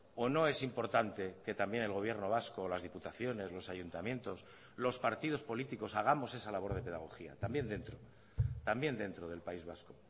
o no es importante que también el gobierno vasco las diputaciones los ayuntamientos los partidos políticos hagamos esa labor de pedagogía también dentro también dentro del país vasco